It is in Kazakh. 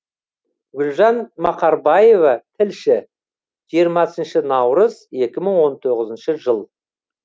гүлжан мақарбаева тілші жиырмасыншы наурыз екі мың он тоғызыншы жыл